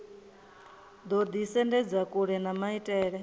ḓo ḓisendedza kule na maitele